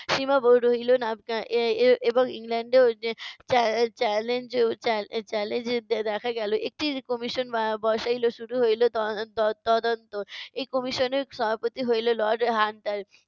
সীমাব রহিলো না এ~ এ~ এবং ইংল্যান্ডেও যে চ্যা~ challenge challa~ challenge দেখা গেলো। একটি commission বসাইলো। শুরু হইলো ত~ তদ~ তদন্ত। এ কমিশনের সভাপতি হইলো lord হান্টার।